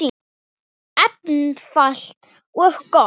Einfalt og gott.